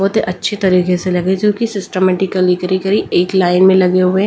बहुत अच्छे तरीके से लगे जो कि सिस्टमैटिकली गरी गरी एक लाइन में लगे हुए हैं।